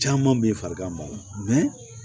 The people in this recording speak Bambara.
Caman bɛ farigan ma